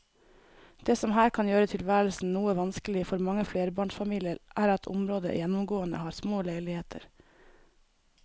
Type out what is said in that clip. Det som her kan gjøre tilværelsen noe vanskelig for mange flerbarnsfamilier er at området gjennomgående har små leiligheter.